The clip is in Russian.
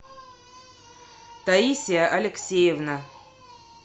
таисия алексеевна